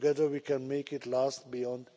Together we can make it last beyond